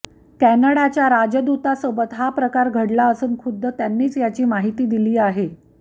कॅनडाच्या राजदूतासोबत हा प्रकार घडला असून खुद्द त्यांनीच याची माहिती दिली आहे